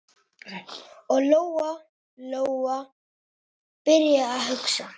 Og Lóa-Lóa byrjaði að hugsa.